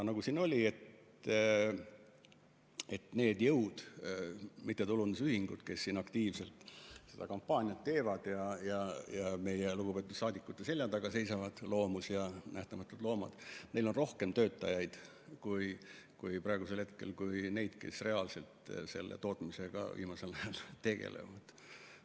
Nagu siin juttu oli, et neil jõududel, mittetulundusühingutel, kes aktiivselt seda kampaaniat teevad ja meie lugupeetud saadikute selja taga seisavad, nagu MTÜ Loomus ja Nähtamatult Loomad, on rohkem töötajaid kui neid, kes viimasel ajal veel reaalselt tootmisega tegelevad.